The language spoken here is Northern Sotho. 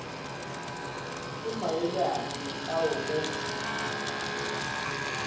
ke maele afe ao o